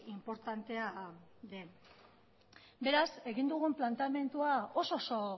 inportantea den beraz egin dugun planteamendua oso